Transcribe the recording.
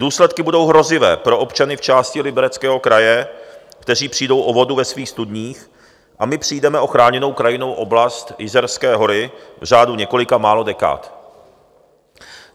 Důsledky budou hrozivé pro občany v části Libereckého kraje, kteří přijdou o vodu ve svých studních, a my přijdeme o Chráněnou krajinnou oblast Jizerské hory v řádu několika málo dekád.